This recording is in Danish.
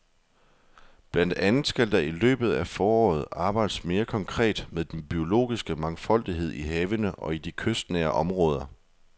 Blandt andet skal der i løbet af foråret arbejdes mere konkret med den biologiske mangfoldighed i havene og i de kystnære områder.